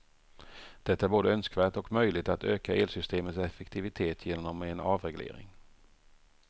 Det är både önskvärt och möjligt att öka elsystemets effektivitet genom en avreglering.